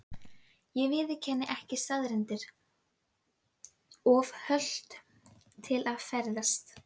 Ég viðurkenni ekki staðreyndir: of hölt til að ferðast.